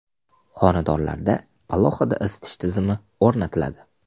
Xonadonlarda alohida isitish tizimi o‘rnatiladi.